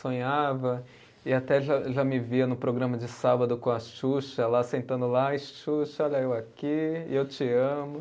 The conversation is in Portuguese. Sonhava e até já já me via no programa de sábado com a Xuxa lá sentando lá, e Xuxa, olha eu aqui, eu te amo.